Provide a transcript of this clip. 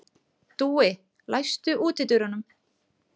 Dúi, læstu útidyrunum.